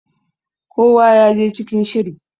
kowa ya je cikin shiri!